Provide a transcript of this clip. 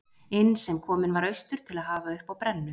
inn sem kominn var austur til að hafa uppi á brennu